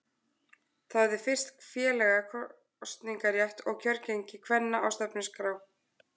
Það hafði fyrst félaga kosningarétt og kjörgengi kvenna á stefnuskrá.